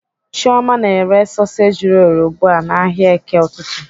Chioma na-ere soseji rolu ugbu a n'ahịa eke ụtụtụ.